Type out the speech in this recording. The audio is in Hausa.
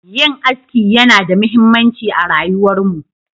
Yin aski yana da muhimmanci a rayuwarmu.